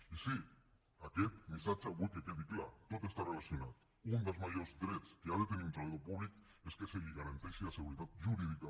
i sí aquest missatge vull que quedi clar tot està relacionat un dels majors drets que ha de tenir un treballador públic és que se li garanteixi la seguretat jurídica